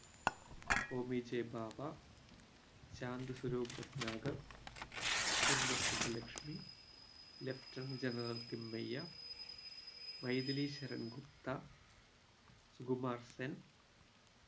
Homi J Bhabha Shanti Swarup Bhatnagar M S Subbulakshmi lieutenant general Thimayya Maithili Sharan Gupt Sukumar Sen